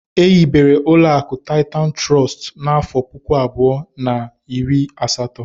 Ehibere uloaku Titan Trust n'afo puku abuo na iri asato.